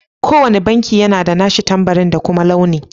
Ko wanne banki yana da nashi tambari da kuma launi.